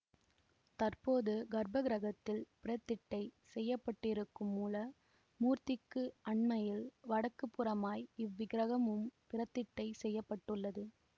தற்போது கர்ப்பக்கிரகத்தில் பிரதிட்டை செய்யப்பட்டிருக்கும் மூல மூர்த்திக்கு அண்மையில் வடக்கு புறமாய் இவ்விக்கிரகமும் பிரதிட்டை செய்ய பட்டுள்ளது